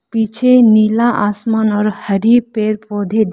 पीछे नीला आसमान और हरी पेड़-पौधे दिख --